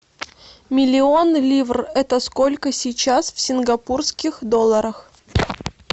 миллион ливр это сколько сейчас в сингапурских долларах